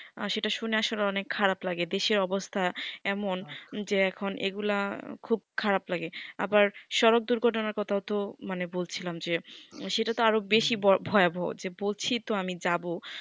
আঃ সেটা শুনে আসলে খারাপ লাগে দেশের অবস্থা এমন যে এখন এগুলা খুব খারাপ লাগে আবার স্বভাব দুর্ঘটনার কথা তো মানে বলছিলাম যে সেটা তো আরো বসে ভয়াবহ যে বলছে তো আমি যাবো